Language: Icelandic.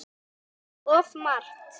Of margt.